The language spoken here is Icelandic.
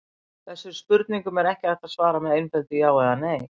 þessum spurningum er ekki hægt að svara með einföldu „já“ eða „nei“